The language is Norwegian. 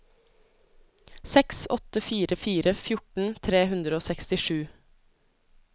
seks åtte fire fire fjorten tre hundre og sekstisju